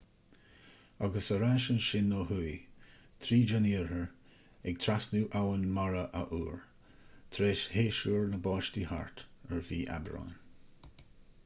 agus ar ais ansin ó thuaidh tríd an iarthar ag trasnú abhainn mara athuair tar éis shéasúr na báistí thart ar mhí aibreáin